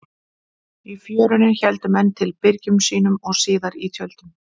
Á Fjörunni héldu menn til í byrgjum sínum og síðar í tjöldum.